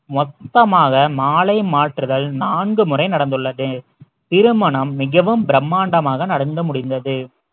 மொத்தமாக மாலை மாற்றுதல் நான்கு முறை நடந்துள்ளது திருமணம் மிகவும் பிரம்மாண்டமாக நடந்து முடிந்தது